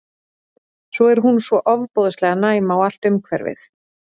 Svo er hún svo ofboðslega næm á allt umhverfið.